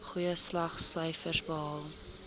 goeie slaagsyfers behaal